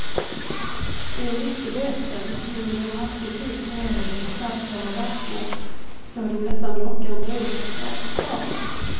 Vi visste bättre, men vid en hastig blick ner i det kristallklara vattnet såg det nästan lockande ut att ta ett bad.